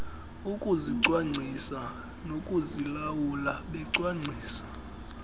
ukuzicwangcisa nokuzilawula becwangcisa